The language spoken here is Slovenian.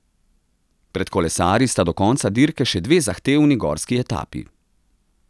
Pred kolesarji sta do konca dirke še dve zahtevni gorski etapi.